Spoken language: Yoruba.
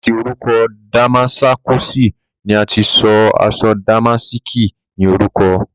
láti orúkọ Damáskọ̀sì ni a ti sọ aṣọ dàmáàskí ní orúkọ.